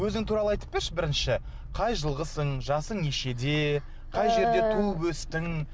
өзің туралы айтып берші бірінші қай жылғысың жасың нешеде қай жерде туып өстің